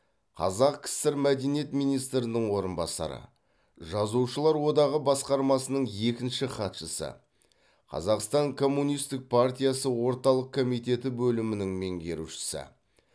қазақ кср мәдениет министрінің орынбасары жазушылар одағы басқармасының екінші хатшысы қазақстан коммунистік партиясы орталық комитеті бөлімінің меңгерушісі